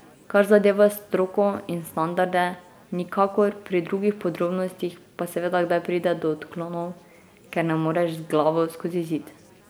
Kar zadeva stroko in standarde, nikakor, pri drugih podrobnostih pa seveda kdaj pride do odklonov, ker ne moreš z glavo skozi zid.